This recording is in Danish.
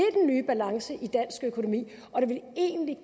nye balance i dansk økonomi og det ville egentlig